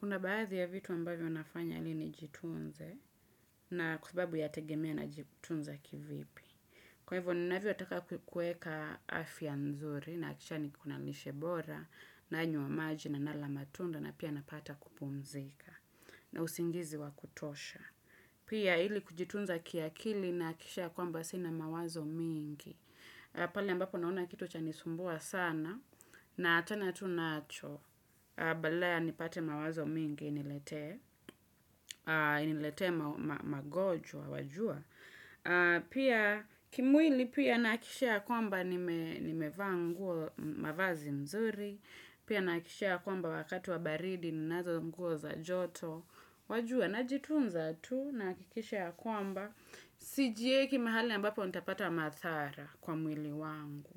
Kuna baadhi ya vitu ambavyo nafanya ili nijitunze na kwa sababu ya tegemea na jitunza kivipi. Kwa hivyo ni navyo taka kueka afya nzuri nahakisha ni kona lishebora na nywa maji na nala matunda na pia napata kupumzika na usingizi wa kutosha. Pia ili kujitunza kiakili nahakisha kwamba sina mawazo mingi. Pale ambapo naona kitu cha nisumbua sana na achana tunacho Badala ya nipate mawazo mingi inilete Iniletee magojwa, wajua Pia kimwili pia nahakisha ya kwamba Nimevaa nguo mavazi mzuri Pia nahakishia kwamba wakati wa baridi ninazo nguo za joto Wajua, najitunza tu Nahakikisha ya kwamba Sijieki mahali ambapo ntapata madhara kwa mwili wangu